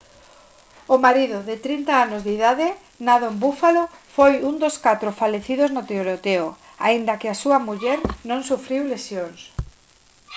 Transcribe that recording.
o marido de 30 anos de idade nado en buffalo foi un dos catro falecidos no tiroteo aínda que a súa muller non sufriu lesións